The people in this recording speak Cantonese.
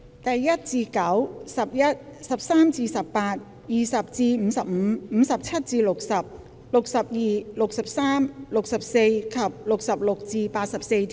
第1至9、11、13至18、20至55、57至60、62、63、64及66至84條。